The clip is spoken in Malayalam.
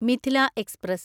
മിഥില എക്സ്പ്രസ്